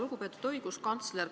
Lugupeetud õiguskantsler!